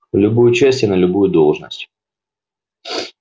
в любую часть и на любую должность